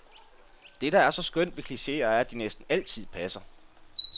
Dét, der er så skønt ved klicheer, er, at de næsten altid passer.